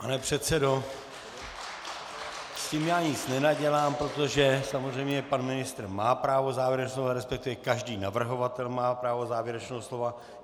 Pane předsedo, s tím já nic nenadělám, protože samozřejmě pan ministr má právo závěrečného slova, respektive každý navrhovatel má právo závěrečného slova.